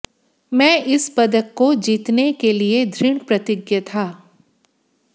मैं इस पदक को जीतने के लिए दृढ़ प्रतिज्ञ था